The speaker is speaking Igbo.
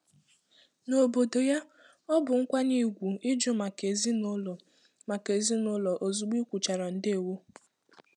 N'obodo ya, ọ bụ nkwanye ùgwù ịjụ maka ezinụlọ maka ezinụlọ ozugbo ị kwuchara ndewo.